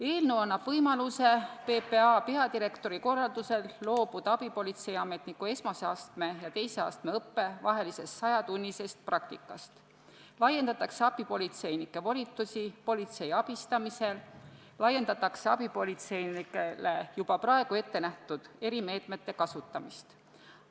Eelnõu annab võimaluse loobuda PPA peadirektori korraldusel abipolitseiniku esimese astme ja teise astme vahelisest sajatunnisest praktikast, lisaks laiendatakse abipolitseinike volitusi politsei abistamisel ning abipolitseinikele juba praegu ette nähtud erimeetmete kasutamist.